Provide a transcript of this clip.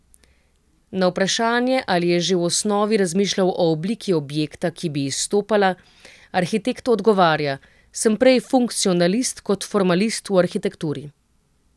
Na vprašanje, ali je že v osnovi razmišljal o obliki objekta, ki bi izstopala, arhitekt odgovarja: "Sem prej funkcionalist kot formalist v arhitekturi.